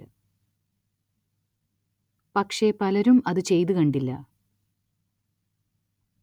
പക്ഷേ പലരും അതു ചെയ്തു കണ്ടില്ല